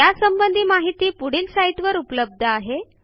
यासंबंधी माहिती पुढील साईटवर उपलब्ध आहे